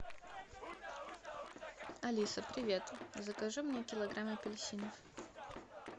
алиса привет закажи мне килограмм апельсинов